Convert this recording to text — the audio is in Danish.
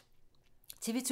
TV 2